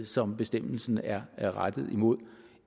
som bestemmelsen er er rettet imod